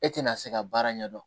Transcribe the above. E tɛna se ka baara ɲɛ dɔn